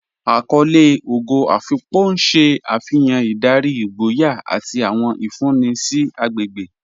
Àkọlé Ógò Afíkpò n ṣẹ́ afihàn ìdárí, ìgbòyà, àti àwọn ìfúnńì sí àgbégbe.